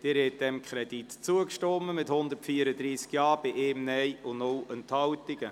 Sie haben diesem Kredit zugestimmt mit 134 Ja- zu 1 Nein bei 0 Enthaltungen.